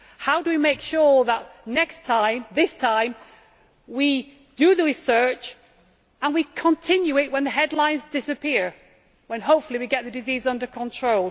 How do we make sure that this time we do the research and continue it when the headlines disappear, when hopefully we get the disease under control?